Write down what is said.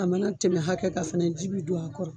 A mana tɛmɛ hakɛ kan fɛnɛ ji bi don a kɔrɔ